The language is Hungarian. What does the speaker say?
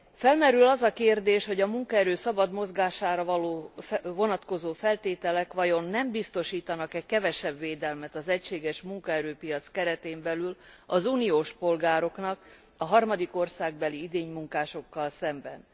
Felmerül az a kérdés, hogy a munkaerő szabad mozgására vonatkozó feltételek vajon nem biztosítanak e kevesebb védelmet az egységes munkaerőpiac keretén belül az uniós polgároknak a harmadik országbeli idénymunkásokkal szemben.